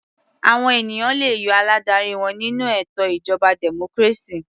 Àwọn ènìyàn le yọ aládarí wọn nínú ètò ìjọba democracy.